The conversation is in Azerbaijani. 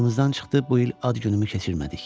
Yadımızdan çıxdı bu il ad günümü keçirmədik.